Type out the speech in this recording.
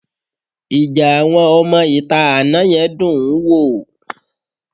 Ìjà àwọn ọmọ-ìta àná yẹn dún-ùn-ún wò